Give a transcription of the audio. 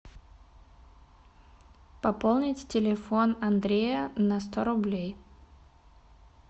пополнить телефон андрея на сто рублей